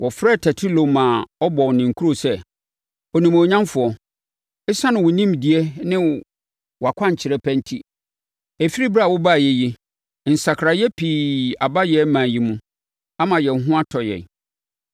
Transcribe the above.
Wɔfrɛɛ Tertulo ma ɔbɔɔ ne nkuro sɛ, “Onimuonyamfoɔ! Esiane wo nimdeɛ ne wʼakwankyerɛ pa enti, ɛfiri ɛberɛ a wobaeɛ yi, nsakraeɛ pa pii aba yɛn ɔman yi mu ama yɛn ho atɔ yɛn.